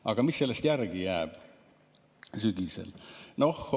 Aga mis sellest järele jääb sügisel?